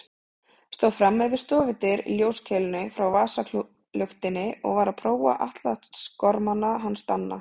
Stóð frammi við stofudyr í ljóskeilunni frá vasaluktinni og var að prófa atlasgormana hans Danna.